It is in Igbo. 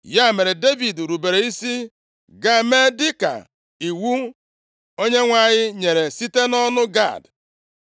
Ya mere, Devid rubere isi gaa mee dịka iwu Onyenwe anyị nyere site nʼọnụ Gad.